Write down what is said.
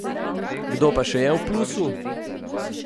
Kdo pa še je v plusu?